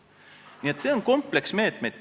Nii et see on meetmete kompleks.